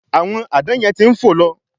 Àwọn Àdán yen tí ń fo ló